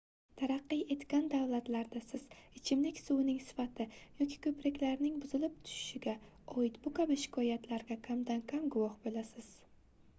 taraqqiy etgan davlatlarda siz ichimlik suvining sifati yoki koʻpriklarning buzilib tushishiga oid bu kabi shikoyatlarga kamdan-kam guvoh boʻlasiz